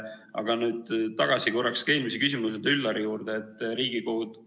Aga nüüd tagasi korraks eelmise küsimuse, Üllari küsimuse juurde.